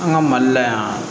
An ka mali la yan